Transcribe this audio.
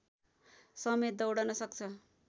समेत दौड्न सक्छ